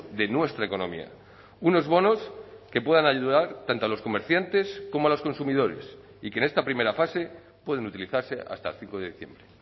de nuestra economía unos bonos que puedan ayudar tanto a los comerciantes como a los consumidores y que en esta primera fase pueden utilizarse hasta el cinco de diciembre